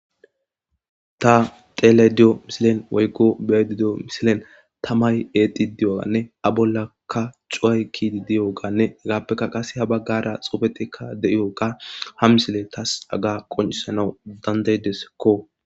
ta telediyo misilen woykko beedidiyo misilen tamay eexi diyoganne a bollakka cuway kidi diyoganne hegaappeka qase ha baggara xofeteka de7iyoka ha misile tas aga qoncisanau dandaydesekko